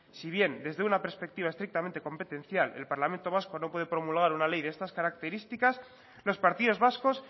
si bien desde una perspectiva estrictamente competencial el parlamento vasco no puede promulgar una ley de estas características los partidos vascos